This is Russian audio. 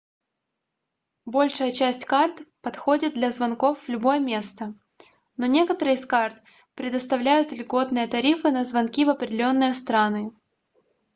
большая часть карт подходит для звонков в любое место но некоторые из карт предоставляют льготные тарифы на звонки в определенные страны